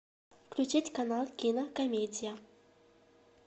включить канал кинокомедия